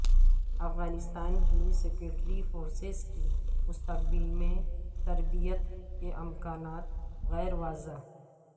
افغانستان کی security forces کی مستقبل میں تربیت کے امکانات غیر واضح